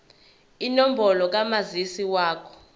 inombolo kamazisi wakho